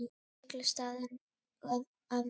Illa staðið að málum.